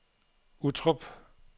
Uttrup